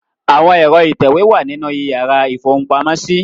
Àwọn ẹ̀rọ ìtẹ̀wé wà nínú ìyàrá ìfohunpamọ́sí.